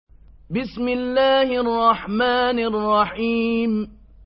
بِسْمِ اللَّهِ الرَّحْمَٰنِ الرَّحِيمِ